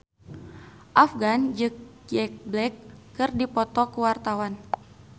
Afgan jeung Jack Black keur dipoto ku wartawan